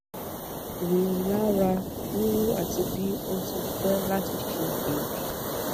rilara ríru ati bi o ti fẹ lati se eebi